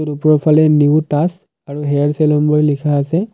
আৰু উপৰফালে new task আৰু হেয়াৰ চেলুন বুলি লিখা আছে।